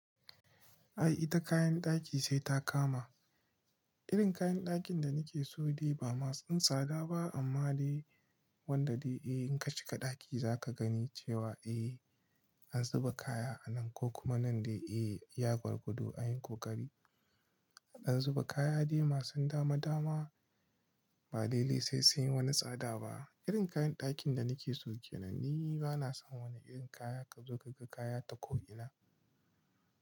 Ai ita kayan ɗaki sai ta kama. Irin kayan ɗakin da nake so dai ba masu tsada ba amma dai wanda dai eh in ka shiga ɗaki zaka gani cewa eh an zuba kaya anan kokuma nan dai eh iya gwargwado dai an yi koƙari. An zuba kaya dai masu dama dama ba dai lalle sai sun yi wani tsada ba. Irin kayan ɗakin da nike so ke nan ni bana son wani irin kaya ka zo ka ga kaya ta ko'ina.